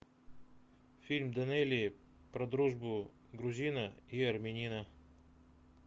фильм данелии про дружбу грузина и армянина